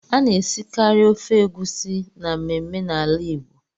A na-esikari ofe egusi na mmemme na ala Igbo.